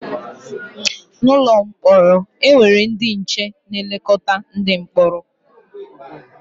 N’ụlọ mkpọrọ, e nwere ndị nche na-elekọta ndị mkpọrọ.